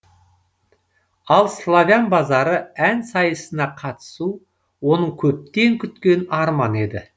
ал славян базары ән сайысына қатысу оның көптен күткен арманы еді